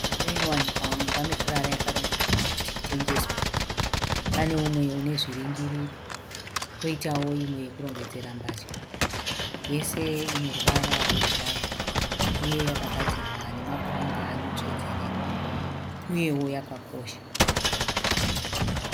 Mudziyo inowanikwa muimba mekurara yakarongedzwa kuti itengeswe. Pane umwe une zviringiriro koitawo imwe yekurongedzera mbatya yese ine ruvara rwebhurawuni uye yakagadzirwa nemapuranga anotsvedzerera uyewo yakakosha.